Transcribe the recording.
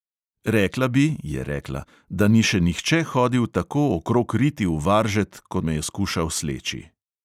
"Rekla bi," je rekla, "da ni še nihče hodil tako okrog riti v varžet, ko me je skušal sleči."